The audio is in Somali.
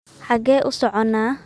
xagee u soconaa